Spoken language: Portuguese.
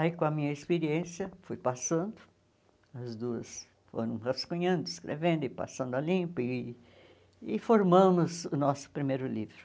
Aí, com a minha experiência, fui passando, as duas foram rascunhando, escrevendo e passando a limpo, e e formamos o nosso primeiro livro.